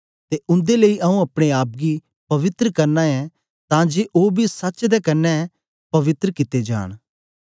ते उन्दे लेई आऊँ अपने आप गी पवित्र करना ऐं तां जे ओ बी सच्च दे कन्ने द पवित्र कित्ते जान